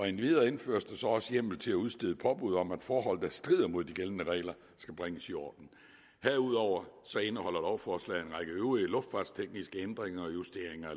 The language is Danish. endvidere indføres der så også hjemmel til at udstede påbud om at forhold der strider mod de gældende regler skal bringes i orden herudover indeholder lovforslaget en række øvrige luftfartstekniske ændringer og justeringer